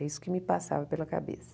É isso que me passava pela cabeça.